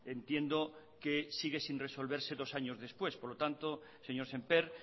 entiendo que sigue sin resolverse dos años después por lo tanto señor sémper